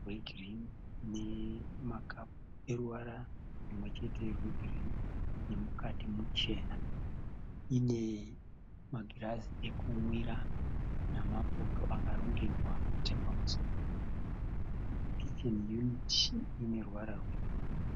rwegirini nemakapu eruvara rumwe chete rwegirini nemukati muchena. Ine magirazi ekumwira namapoto akarongedzwa nechapamusoro. Kicheni yuniti iyi ine ruvara rwebhuruu.